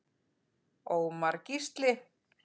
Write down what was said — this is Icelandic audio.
HÁRIÐ argir ýmsir reyta.